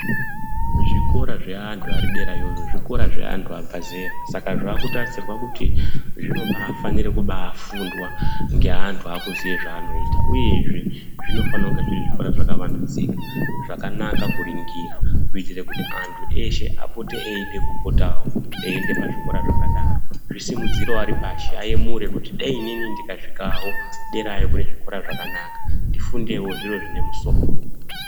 Zvikora zveandu apa derayoyo zvikora zveandu abva zera saka zvakutarisirwa kuti zvino baafanira kubaa fundwa ngeandu akuziya zvaanoita uyezve, zvinofana kunge zviri zvikora zvaka vandudzika, zvakanaka kuringira kuitira kuti andu eshe apote eide kupotavo eiende pazvikora zvakadaro, zvisi mudzirevo aripashi ayemurevo kuti dai inini ndika svikavo derayo kune zvikora zvakanaka ndifundewo zvepamusoro.